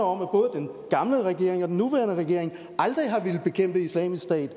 om at både den gamle regering og den nuværende regering aldrig har villet bekæmpe islamisk stat